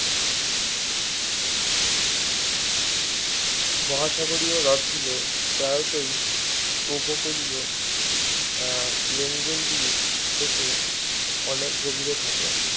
মহাসাগরীয় হ্রদগুলি প্রায়শই উপকূলীয় আহ লোঙ্গলগুলির থেকে অনেক গভীরে থাকে